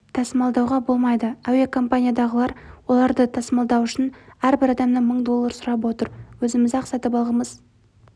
тасымалдауға болмайды әуекоманиядағылар оларды тасымалдау үшін әрбір адамнан мың доллар сұрап отыр өзіміз-ақ сатып алғымыз